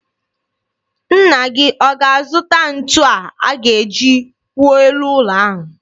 Nna gị ọ ga-azụta ntu a ga-eji kwụọ elu ụlọ ahụ?